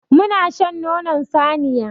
Muna shan nonon saniya.